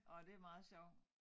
Nåh det meget sjovt